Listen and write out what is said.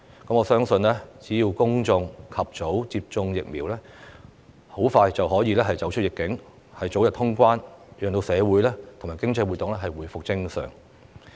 我相信只要公眾及早接種疫苗，香港很快便可以走出"疫"境，早日恢復通關，讓社會和經濟活動回復正常。